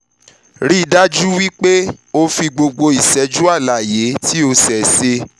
rii daju wipe o fi gbogbo iṣẹju alaye ti o ṣeeṣe